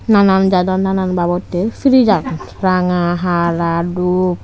nanan jador nanan babottey siris agon ranga hala dup.